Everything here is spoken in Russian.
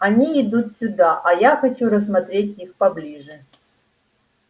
они идут сюда а я хочу рассмотреть их поближе